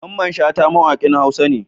Mamman shata mawakin huasa ne